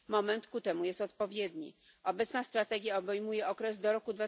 Moment ku temu jest odpowiedni. Obecna strategia obejmuje okres do roku